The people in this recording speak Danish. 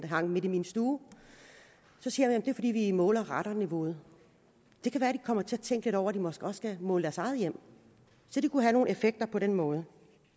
hang midt i min stue så siger det er fordi vi måler radonniveauet det kan være de kommer til at tænke lidt over at de måske også skal måle i deres eget hjem så det kunne have nogle effekter på den måde